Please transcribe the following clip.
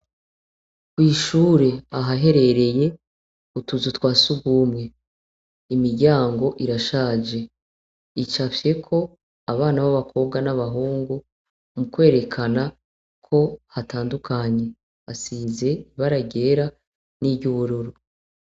Kw'ishure aha herereye utuzu twasugumwe imiryango irashaje. Icafyeko abana ba bakobwa na bahungu mukwerekana ko hatandukanye hasize ibara ryera ni ryubururu.